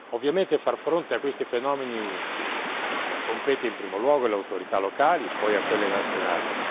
Ovviamente, far fronte a questi fenomeni compete in primo luogo alle autorità locali, poi a quelle nazionali.